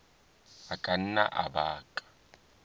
a ka nna a baka